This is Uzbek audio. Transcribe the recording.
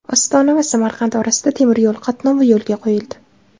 Ostona va Samarqand orasida temiryo‘l qatnovi yo‘lga qo‘yildi.